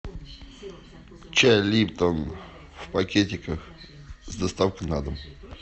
чай липтон в пакетиках с доставкой на дом